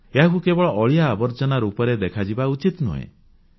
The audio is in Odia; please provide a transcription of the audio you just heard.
ଏହାକୁ କେବଳ ଅଳିଆ ଆବର୍ଜନା ରୂପରେ ଦେଖାଯିବା ଉଚିତ ନୁହେଁ